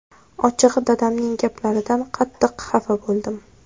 Ochig‘i, dadamning gaplaridan qattiq xafa bo‘ldim.